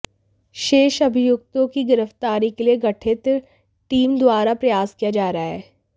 शेष अभियुक्तों की गिरफ्तारी के लिए गठित टीम द्वारा प्रयास किया जा रहा है